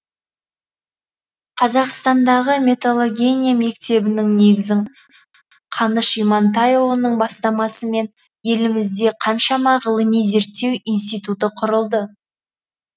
қазақстандағы металлогения мектебінің негізін қаныш имантайұлының бастамасымен елімізде қаншама ғылыми зерттеу институты құрылды